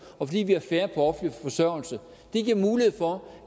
og fordi vi har færre på offentlig forsørgelse det giver mulighed for